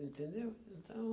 Entendeu? Então